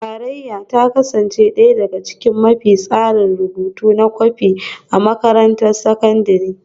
Tarayyar ta kasance ɗaya daga cikin mafi tsayin rubutu da na kwafi a makarantar sakandare